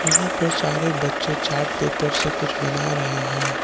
यहां पर सारे बच्चे चार्ट पेपर से कुछ बना रहे हैं।